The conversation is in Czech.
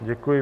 Děkuji.